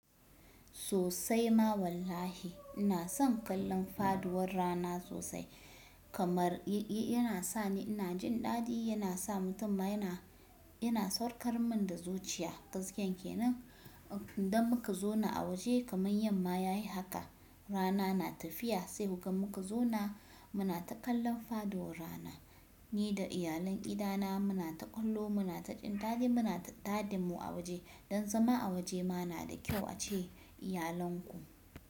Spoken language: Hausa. Sosai ma wallahi ina son kallon faduwar rana sosai kamar yana sa ni ina jin ɗadi, yana sa mutum yana, yana saukar min da zuciya. Gaskiya kenan idan muka zauna a waje kamar yamma ya yi haka rana na tafiya sai muka zauna muna ta kallon faduwar rana. Ni da iyalan gina muna ta kallo, muna ta jindaɗi, muna taɗin mu a waje. Don zama a waje ma na da kyau a ce iyalanku.